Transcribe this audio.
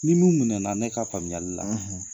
Ni minnu minɛna ne ka faamuyali la.